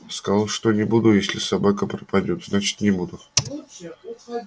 сказал что не буду если собака пропадёт значит не буду